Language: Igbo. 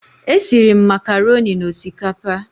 Esiri m makaroni na osikapa